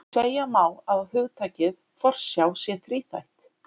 Segja má að hugtakið forsjá sé þríþætt.